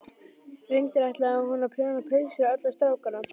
Reyndar ætlaði hún að prjóna peysur á alla strákana